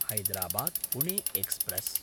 Hyderabad-Pune express